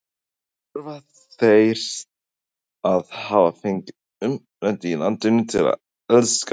Þurfa þeir að hafa fengið uppeldi í landinu til að elska það?